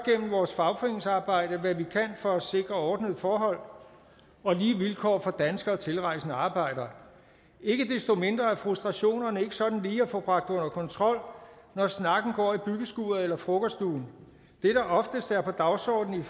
vores fagforeningsarbejde hvad vi kan for at sikre ordnede forhold og lige vilkår for danske og tilrejsende arbejdere ikke desto mindre er frustrationerne ikke sådan lige at få bragt under kontrol når snakken går i byggeskuret eller frokoststuen det der oftest er på dagsordenen